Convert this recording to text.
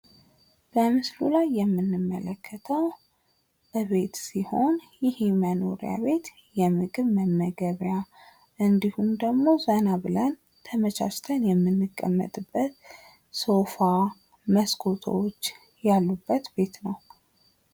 በምስሉ ላይ የምንመለከተው ቤት ሲሆን ይሄ መኖሪያ ቤት ምግብ መመገቢያ እንድሁም ደግሞ ዘና ብለን ተመቻችተን የምንቀመጥበት ሶፋ መስኮቶች ያሉበት ቤት ነው።